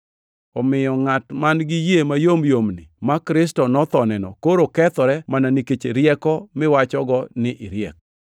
Omiyo ngʼat man-gi yie mayomyomni ma Kristo nothoneno koro kethore mana nikech rieko miwachogo ni iriek.